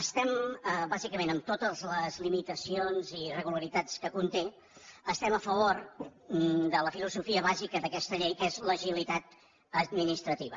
estem bàsicament amb totes les limitacions i irregularitats que conté estem a favor de la filosofia bàsica d’aquesta llei que és l’agilitat administrativa